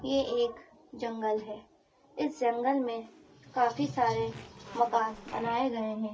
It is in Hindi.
ये एक जंगल है इस जंगल में काफी सारे मकान बनाए गए हैं।